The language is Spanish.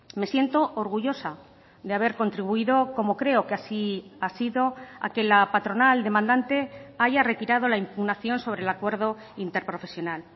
me siento orgullosa de haber contribuido como creo que así ha sido a que la patronal demandante haya retirado la impugnación sobre el acuerdo interprofesional